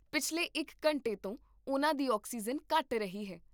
ਪਿਛਲੇ ਇੱਕ ਘੰਟੇ ਤੋਂ ਉਹਨਾਂ ਦੀ ਆਕਸੀਜਨ ਘੱਟ ਰਹੀ ਹੈ